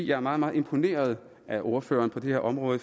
jeg er meget meget imponeret af ordføreren på det her område